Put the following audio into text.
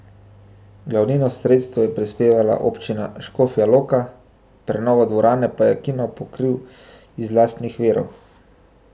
Glavnino sredstev je prispevala Občina Škofja Loka, prenovo dvorane pa je kino pokril iz lastnih virov.